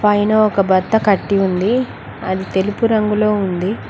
పైన ఒక బత్త కట్టి ఉంది అది తెలుపు రంగులో ఉంది.